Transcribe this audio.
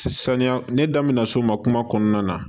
Saniya ne daminɛ na so n ma kuma kɔnɔna na